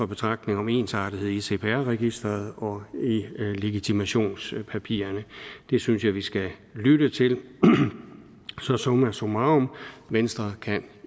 betragtning om ensartethed i cpr registeret og i legitimationspapirerne det synes jeg vi skal lytte til så summa summarum venstre kan